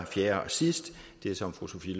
fjerde og sidste det som fru sophie